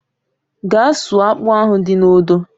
Gaa sụọ akpụ ahụ dị n'odo!